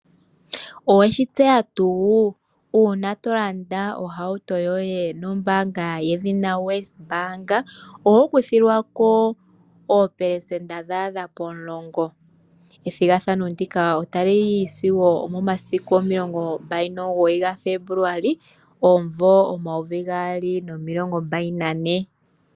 Oweshi tseya tu, uuna tolanda ohauto yoye nombaanga yedhina WesBank, oho kuthilwa ko oopelesenta dhaadha pomulongo. Ethigathano ndika ota li yi sigo omomasiku omilongo 29 Fembuluali 2024.